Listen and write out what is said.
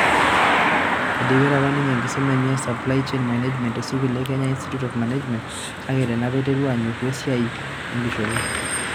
Eidipita apa ninye enkisuma enye e Supply Chain Management te sukul e Kenya Institute of Management, kake tenee apa aiterua anyoruu esiai enkishopo.